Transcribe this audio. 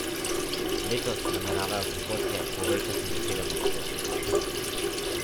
Letos nameravajo prihodke povečati za sedem odstotkov.